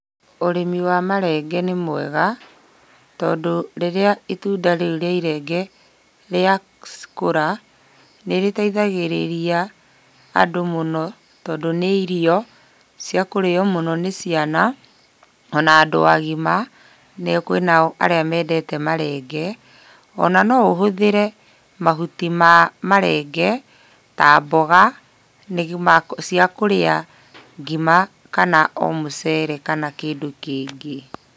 Ũrĩmi wa marenge nĩ mwega, tondũ rĩrĩa itunda rĩu rĩa irenge, rĩakũra, nĩrĩteithagĩrĩria, andũ mũno, tondũ nĩ irio ciakũrĩo mũno nĩ ciana, ona andũ agima, nĩo kwĩnao arĩa mendete marenge, ona noũhũthĩre mahuti ma marenge, ta mboga cia kũrĩa ngima kana o mũcere kana kĩndũ kĩngĩ.